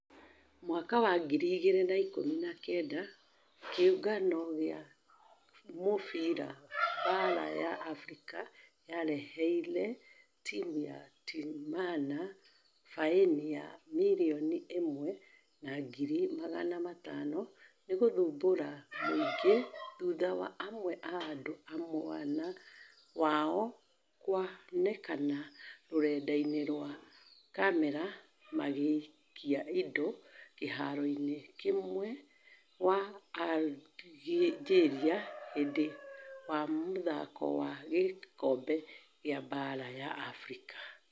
Mwaka wa ngiri igĩri na ikũmi na kenda kĩũngano gia mũfira baara ya africa yareherĩe timũ ya timana faĩni ya mirioni ĩmwe na ngiri magana matano nĩgũthumbũra mũingi thutha wa amwe a andũ a mwena wao kuonekana rurenda-inĩ rwa camera magĩikia indo kĩharoinĩ mwena wa algeria hĩndĩ wa mũthako wa gĩkobe gia baara ya africa.